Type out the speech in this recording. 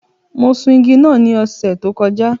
Mo sun igi náà ní ọ̀sẹ̀ tó kọjá.